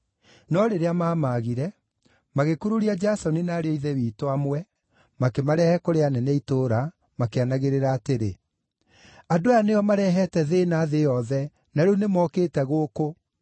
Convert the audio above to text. No rĩrĩa maamaagire, magĩkururia Jasoni na ariũ a Ithe witũ amwe, makĩmarehe kũrĩ anene a itũũra, makĩanagĩrĩra atĩrĩ: “Andũ aya nĩo marehete thĩĩna thĩ yothe, na rĩu nĩmookĩte gũkũ,